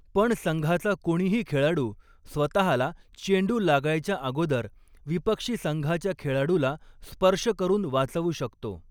पण संघाचा कोणीही खेळाडू स्वतःला, चेंडु लागायच्या अगोदर विपक्षी संघाच्या खेळाडूला स्पर्श करून वाचवू शकतो.